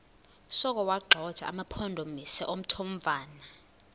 sokuwagxotha amampondomise omthonvama